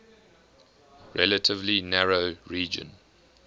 relatively narrow region